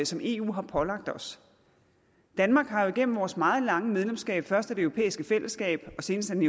som eu har pålagt os danmark har jo igennem vores meget lange medlemskab først af det europæiske fællesskab og senest af den